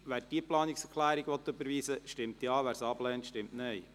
Wer diese Planungserklärung überweisen will, stimmt Ja, wer sie ablehnt, stimmt Nein.